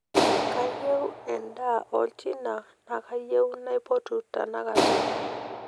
kayieu edaa olchina nakayieu naipotu tenakata